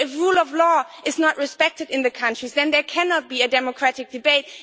If the rule of law is not respected in countries then there cannot be a democratic debate.